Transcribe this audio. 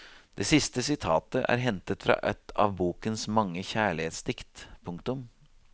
Det siste sitatet er hentet fra et av bokens mange kjærlighetsdikt. punktum